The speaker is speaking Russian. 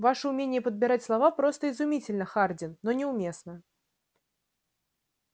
ваше умение подбирать слова просто изумительно хардин но неуместно